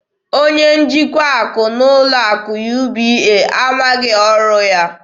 Onye njikwa akụ n'ụlọ akụ UBA amaghị ọrụ ya.